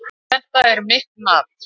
Það er mitt mat.